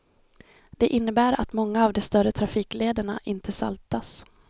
Det innebär att många av de större trafiklederna inte saltas.